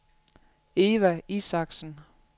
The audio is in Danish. Eva Isaksen